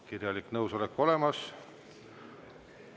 Kirjalik nõusolek on olemas.